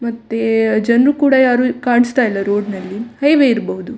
ಮತ್ತೆ ಜನ್ರು ಕೂಡ ಯಾರು ಕಾಣಿಸ್ತ ಇಲ್ಲ ರೋಡ್‌ನಲ್ಲಿ ಹೈವೇ ಇರ್ಬಹುದು.